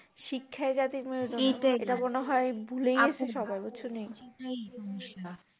শিক্ষায় জাতি ইটা মনে হয় ভুলেই গেছে সবাই বুঝছোনি